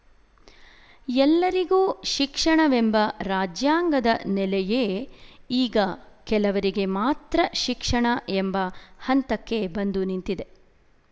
ಎಲ್ಲರಿಗೂ ಶಿಕ್ಷಣವೆಂಬ ರಾಜ್ಯಾಂಗದ ನೆಲೆಯೇ ಈಗ ಕೆಲವರಿಗೆ ಮಾತ್ರ ಶಿಕ್ಷಣ ಎಂಬ ಹಂತಕ್ಕೆ ಬಂದು ನಿಂತಿದೆ